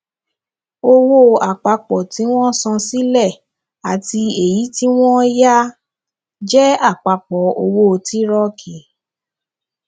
owó àpapọ tí wọn san sílẹ àti èyí tí wọn yá jẹ àpapọ owó tírọkì